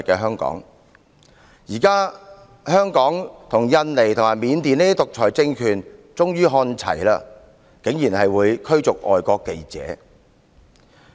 香港現時已與印尼和緬甸等獨裁政權看齊，竟然會驅逐外國記者。